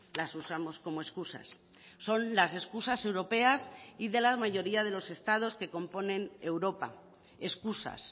las usamos como excusas son las excusas europeas y de la mayoría de los estados que componen europa excusas